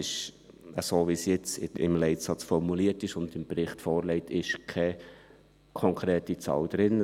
Wie es jetzt im Leitsatz formuliert ist und im Bericht vorliegt, ist keine konkrete Zahl drin.